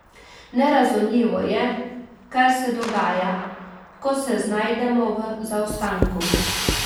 Nerazumljivo je, kar se dogaja, ko se znajdemo v zaostanku.